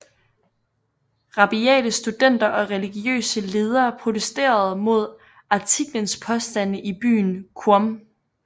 Rabiate studenter og religiøse ledere protesterede mod artiklens påstande i byen Qom